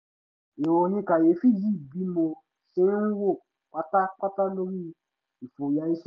ìròyìn kàyéfì yí bí mo ṣe ń wò pátápátá lórí ìfòyà iṣẹ́